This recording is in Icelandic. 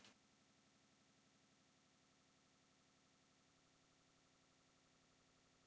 Hann var ekki læknir.